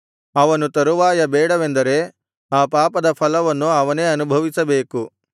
ಅವನು ತರುವಾಯ ಬೇಡವೆಂದರೆ ಆ ಪಾಪದ ಫಲವನ್ನು ಅವನೇ ಅನುಭವಿಸಬೇಕು